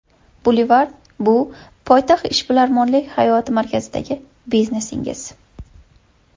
Boulevard bu poytaxt ishbilarmonlik hayoti markazidagi biznesingiz.